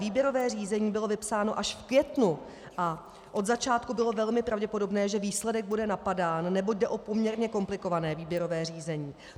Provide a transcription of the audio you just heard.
Výběrové řízení bylo vypsáno až v květnu a od začátku bylo velmi pravděpodobné, že výsledek bude napadán, neboť jde o poměrně komplikované výběrové řízení.